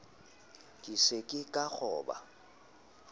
ke se ke ka kgoba